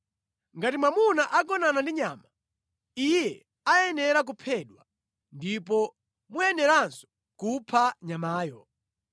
“ ‘Ngati mwamuna agonana ndi nyama, iye ayenera kuphedwa, ndipo muyeneranso kupha nyamayo.